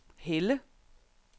Helle